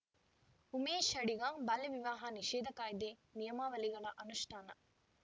ಉಮೇಶ್‌ ಅಡಿಗ ಬಾಲ್ಯ ವಿವಾಹ ನಿಷೇಧ ಕಾಯ್ದೆನಿಯಮಾವಳಿಗಳ ಅನುಷ್ಠಾನ